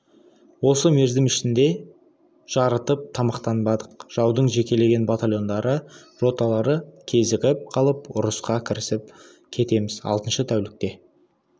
осы мерзім ішінде жарытып тамақтанбадық жаудың жекелеген батальондары роталары кезігіп қалып ұрысқа кірісіп кетеміз алтыншы тәулікте